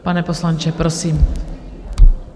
Pane poslanče, prosím.